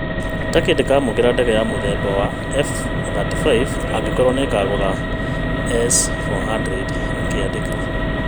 Turkey ndĩkamũkĩra ndege mũthemba wa F-35 angĩkorũo nĩĩkagũra S-400’’ akĩandĩka